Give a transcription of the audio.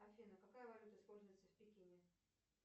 афина какая валюта используется в пекине